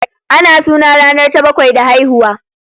Ana suna ranar ta bakwai da haihuwa